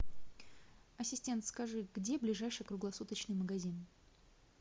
ассистент скажи где ближайший круглосуточный магазин